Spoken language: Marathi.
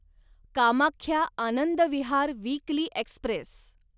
Kamakhya Anand Vihar weekly Express